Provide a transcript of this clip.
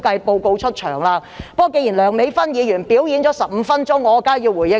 不過，既然梁美芬議員"表演"了15分鐘，我當然要回應一下。